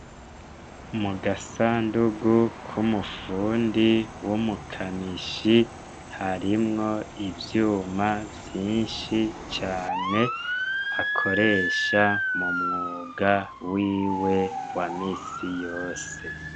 Mu gasandugu k'umufundi w'umukanishi harimwo ivyuma vyinshi cane akoresha mu mwuga wiwe wa misi yose.